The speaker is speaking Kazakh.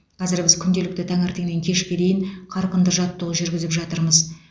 қазір біз күнделікті таңертеңнен кешке дейін қарқынды жаттығу жүргізіп жатырмыз